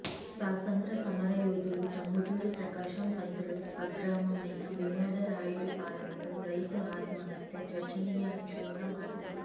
స్వాతంత్ర సమరయోధుడు టంగుటూరి ప్రకాశం పంతులు స్వగ్రామమైన వినోద రాయుడుపాలెంలో రైతు ఆత్మహత్య చర్చనీయాంశంగా మారింది